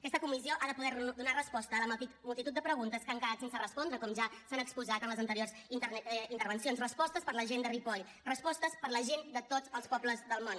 aquesta comissió ha de poder donar resposta a la multitud de preguntes que han quedat sense respondre com ja s’ha exposat en les anteriors intervencions respostes per a la gent de ripoll respostes per a la gent de tots els pobles del món